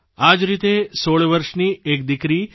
હનાયાને ઘણી બધી શુભકામનાઓ અને આશીર્વાદ